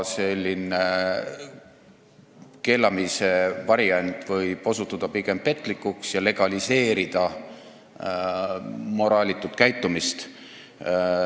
Selline keelamise variant võib osutuda pigem petlikuks ja legaliseerida moraalitut käitumist.